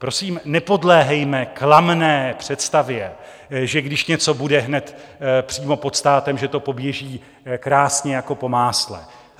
Prosím, nepodléhejme klamné představě, že když něco bude hned přímo pod státem, že to poběží krásně jako po másle.